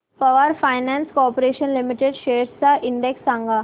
power finance corporation limited shares चा index सांगा